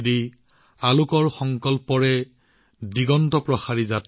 পোহৰৰ সংকল্প লবলৈ